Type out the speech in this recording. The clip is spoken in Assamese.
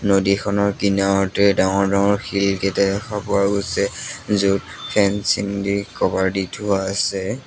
নদীখনৰ কিনাৰতে ডাঙৰ ডাঙৰ শিল কেইটা দেখা পোৱা গৈছে য'ত ফেঞ্চিং দি ক'ভাৰ দি থোৱা আছে।